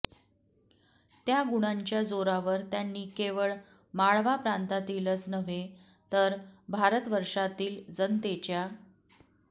त्या गुणांच्या जोरावर त्यांनी केवळ माळवा प्रांतातीलच नव्हे तर भारतवर्षातील जनतेच्या